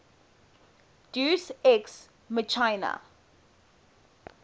deus ex machina